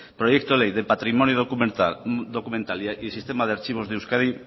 proyecto ley de patrimonio documental y sistema de archivos de euskadi